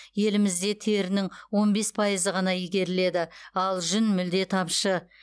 елімізде терінің он бес пайызы ғана игеріледі ал жүн мүлде тапшы